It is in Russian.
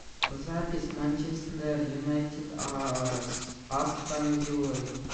запись манчестер юнайтед с астон виллой